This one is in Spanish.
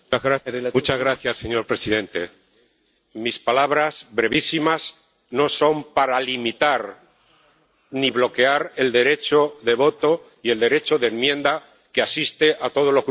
Señor presidente, mis palabras, brevísimas, no son para limitar ni bloquear el derecho de voto y el derecho de enmienda que asiste a todos los Grupos de la Cámara.